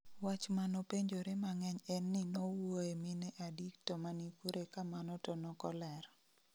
Wach manopenjore mang'eny en ni nowuoye mine adi to mani kure ka mano to nokoler